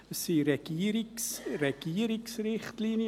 Es sind Regierungsrichtlinien.